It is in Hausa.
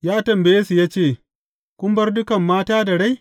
Ya tambaye su ya ce, Kun bar dukan mata da rai?